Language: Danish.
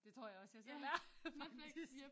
Det tror jeg også jeg selv er faktisk!